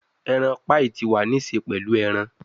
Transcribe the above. Eran paii ti wa ni ṣe pẹlu eran